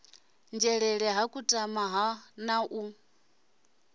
nzhelele ha kutama na ha